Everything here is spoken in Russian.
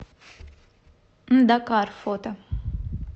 дакар фото